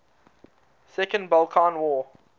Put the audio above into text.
second balkan war